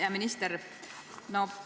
Hea minister!